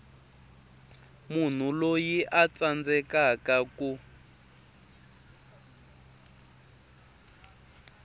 munhu loyi a tsandzekaku ku